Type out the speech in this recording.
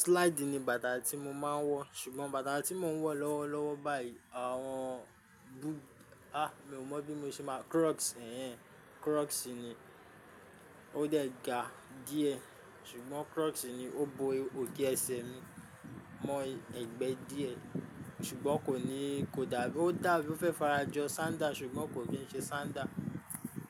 Slide ni bàtà tí mo máa ń wọ̀, ṣùgbọ́n bàtà tí mò ń wọ̀ lọ́wọ́ lọ́wọ́ báyìí àwọn búù-- a! Mi ò mọ̀ bí mo ṣe máa, crocs èéh, crocs ni. Ó dẹ̀ ga díẹ̀, ṣùgbọ́n crocs ni. Ó bo òkè ẹsẹ̀ mi mọ́ ẹgbẹ́ díẹ̀ ṣùgbọ́n kò ní, kò dàbí, ódàbí ófẹ́ fara jọ sandal ṣùgbọ́n kò kì í ń ṣe sandal.